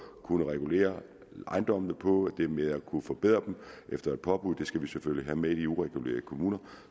kunne regulere ejendommene på det med at kunne forbedre dem efter et påbud skal vi selvfølgelig have med i de uregulerede kommuner